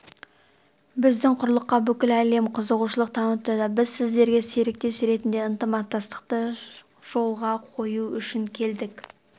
біздің құрлыққа бүкіл әлем қызығушылық танытуда біз сіздерге серіктес ретінде ынтымақтастықты жолға қою үшін келдік